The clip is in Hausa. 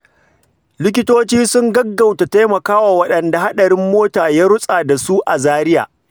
Likitoci sun gaggauta taimakawa waɗanda hadarin mota ya rutsa da su a Zaria.